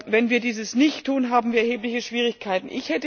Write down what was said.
Wenn wir das nicht tun, haben wir erhebliche Schwierigkeiten.